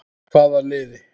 Hvaða liði?